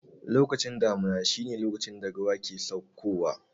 Lokacin damuna shi ne lokacin da ruwa ke sauko wa